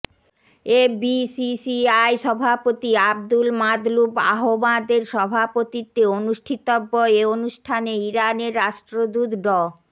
FBCCI সভাপতি আবদুল মাতলুব আহমাদের সভাপতিত্বে অনুষ্ঠিতব্য এ অনুষ্ঠানে ইরানের রাষ্ট্রদূত ড